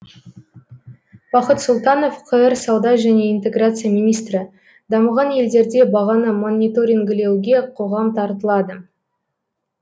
бақыт сұлтанов қр сауда және интеграция министрі дамыған елдерде бағаны мониторингілеуге қоғам тартылады